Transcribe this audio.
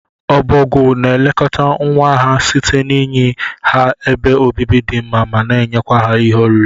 Obogwu na elekọta nwa ha site n'inye ha ebe obibi di mma mana enyekwa ha ihe oriri.